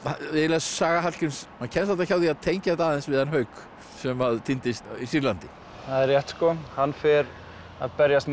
saga Hallgríms maður kemst varla hjá því að tengja þetta aðeins við hann Hauk sem týndist í Sýrlandi það er rétt sko hann fer að berjast með